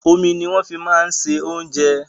Omi ní wọn fi máa ń bọ oúnjẹ